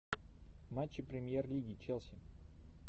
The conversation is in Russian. матчи премьер лиги челси